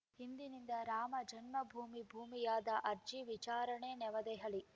ಇಂದಿನಿಂದ ರಾಮ ಜನ್ಮಭೂಮಿ ಭೂವಿವಾದ ಅರ್ಜಿ ವಿಚಾರಣೆ ನವದೆಹಲಿ